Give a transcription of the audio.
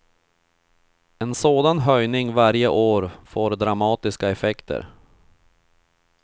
En sådan höjning varje år får dramatiska effekter.